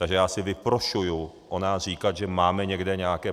Takže já si vyprošuji o nás říkat, že máme někde nějaké...